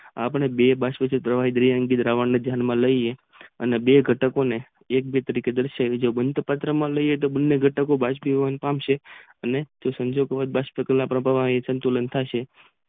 આપણે બે બાજુ થી પ્રવાહીઓ ને ધ્યાન માં લઈએ અને બે ખટકો ને બને ઘટકો બાષ્પીભવન પામશે અને તે સંજોગોમાં બાષ્પીભવ થશે.